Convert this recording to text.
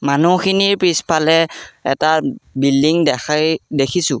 মানুহখিনিৰ পিছফালে এটা বিল্ডিং দেখাই দেখিছোঁ।